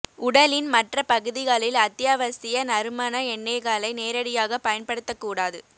உடலின் மற்ற பகுதிகளில் அத்தியாவசிய நறுமண எண்ணெய்களை நேரடியாக பயன்படுத்தக் கூடாது